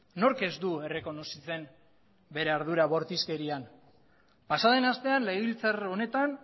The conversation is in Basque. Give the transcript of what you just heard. nork ez du errekonozitzen bere ardura bortizkerian pasa den astean legebiltzar honetan